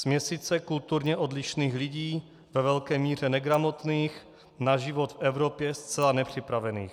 Směsice kulturně odlišných lidí, ve velké míře negramotných, na život v Evropě zcela nepřipravených.